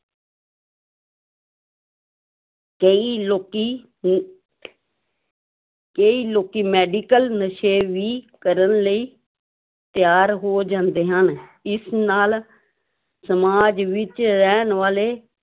ਕਈ ਲੋਕੀ ਕਈ ਲੋਕੀ medical ਨਸ਼ੇ ਵੀ ਕਰਨ ਲਈ ਤਿਆਰ ਹੋ ਜਾਂਦੇ ਹਨ, ਇਸ ਨਾਲ ਸਮਾਜ ਵਿੱਚ ਰਹਿਣ ਵਾਲੇ